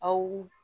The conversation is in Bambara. Aw